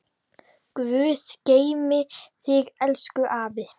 Guð geymi þig, elsku afi.